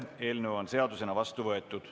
Eelnõu on seadusena vastu võetud.